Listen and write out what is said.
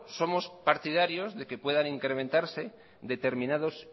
somos partidarios de que puedan incrementarse determinados